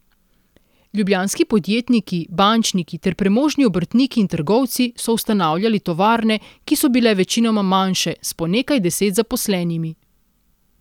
Ljubljanski podjetniki, bančniki ter premožni obrtniki in trgovci so ustanavljali tovarne, ki so bile večinoma manjše, s po nekaj deset zaposlenimi.